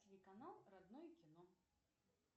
телеканал родное кино